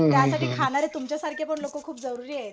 त्यासाठी खाणारे तुमच्या सारखेपण जरुरीयेत